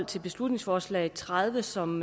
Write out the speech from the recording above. til beslutningsforslag b tredive som